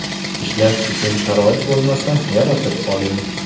Ishlash uchun sharoit bo‘lmasa, yaratib oling.